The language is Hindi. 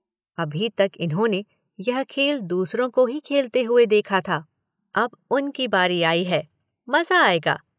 अभी तक इन्होंने यह खेल दूसरों को ही खेलते हुए देखा था। अब उनकी बारी आई है। मज़ा आएगा।